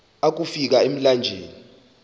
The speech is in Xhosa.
akofi ka emlanjeni